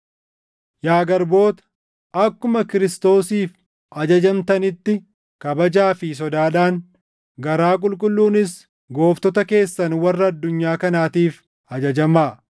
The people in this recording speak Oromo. Yaa garboota, akkuma Kiristoosiif ajajamtanitti kabajaa fi sodaadhaan, garaa qulqulluunis gooftota keessan warra addunyaa kanaatiif ajajamaa.